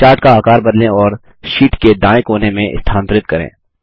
chart का आकार बदलें और शीट के दायें कोने में स्थानांतरित करें